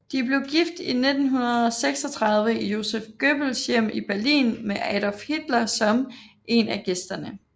De blev gift i 1936 i Joseph Goebbels hjem i Berlin med Adolf Hitler som en af gæsterne